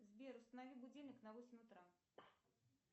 сбер установи будильник на восемь утра